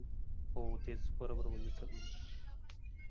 हो तेच बरोबर बोलले sir तुम्ही.